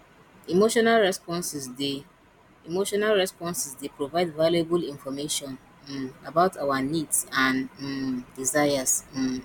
emotional responses dey emotional responses dey provide valuable information um about our needs and um desires um